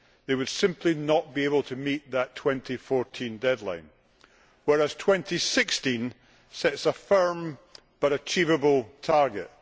They would simply not be able to meet that 2014 deadline, whereas 2016 sets a firm but achievable target.